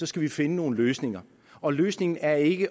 skal vi finde nogle løsninger og løsningen er ikke at